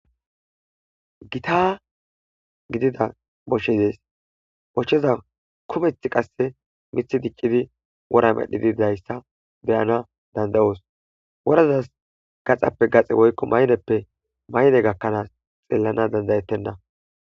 Gita gidida boche dees bochcheza kumeth qasse mithi diccidi wora medhidiidayssa beyana dandayoos worazas gaxappe gaxe woykko mayneppe mayne gakkanaas xeellana dandayettenna